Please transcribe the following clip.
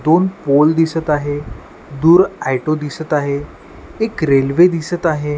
दोन पोल दिसत आहे दूर ऑटो दिसत आहे एक रेल्वे दिसत आहे.